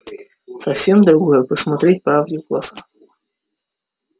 совсем другое посмотреть правде в глаза